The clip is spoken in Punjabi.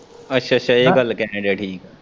ਅੱਛਾ-ਅੱਛਾ ਇਹ ਗੱਲ ਕਹਿਣ ਦਿਆਂ ਠੀਕ ਏ।